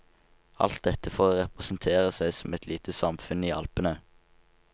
Alt dette for å representere seg som ett lite samfunn i alpene.